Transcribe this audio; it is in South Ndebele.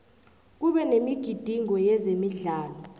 kube nemigidingo yezemidlalo